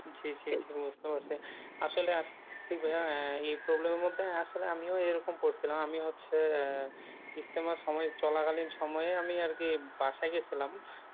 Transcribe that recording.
জি জি জি বুজতে পারছি, আসলেই আসলে কি ভাইয়া এই problem এর মধ্যে আসলে আমিও এইরকম করছিলাম, আমি হচ্ছে ইজতেমার সময়ে চলাকালীন সময়ে আমি আরকি বাসায় গিয়েছিলাম